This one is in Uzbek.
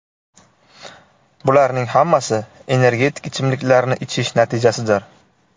Bularning hammasi energetik ichimliklarni ichish natijasidir.